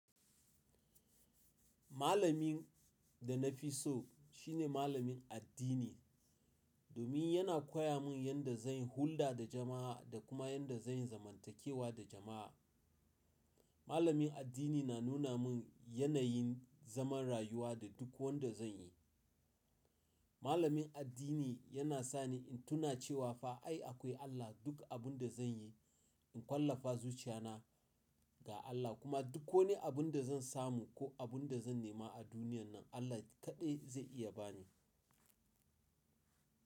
Malamin da na fi so shi ne malamin addini, domin yana koya mun yadda zan yi hulɗa da jama'a da kuma yadda zan zamantakewa da jama'a. Malamin addini na nuna min yanayin zaman rayuwa da duk wanda zan yi. Malamin addini yana sa ni in tuna cewa fa ai akwai Allah. Duk abin da zan yi, in ƙwallafa zuciya na ga Allah kuma duk wani abin da zan samu ko abin da zan nema a duniyan nan, Allah ne kaɗai zai iya bani.